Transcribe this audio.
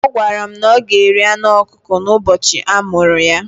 Ọ gwara m na o ga-eri anụ ọkụkọ n'ụbọchị a mụrụ ya.